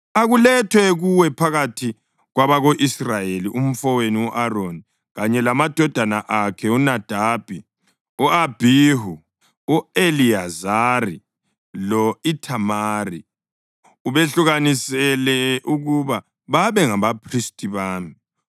“Akulethwe kuwe phakathi kwabako-Israyeli umfowenu u-Aroni kanye lamadodana akhe uNadabi, u-Abhihu, u-Eliyazari lo-Ithamari, ubehlukanisele ukuba babe ngabaphristi bami.